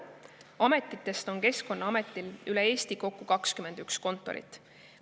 Ametitest on Keskkonnaametil üle Eesti kokku 21 kontorit.